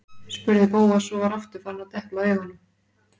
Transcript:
spurði Bóas og var aftur farinn að depla augunum.